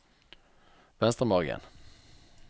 Venstremargen